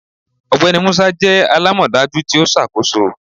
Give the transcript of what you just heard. Ọgbẹni Musa jẹ alamọdaju ti o ṣakoso